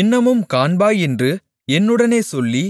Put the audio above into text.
இன்னமும் காண்பாய் என்று என்னுடனே சொல்லி